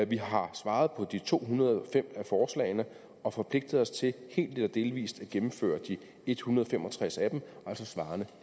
vi har svaret på de to hundrede og fem af forslagene og forpligtet os til helt eller delvis at gennemføre de en hundrede og fem og tres af dem svarende